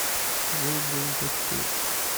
жил был дэдпул